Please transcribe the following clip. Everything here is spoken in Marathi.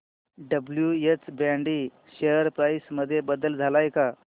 डब्ल्युएच ब्रॅडी शेअर प्राइस मध्ये बदल आलाय का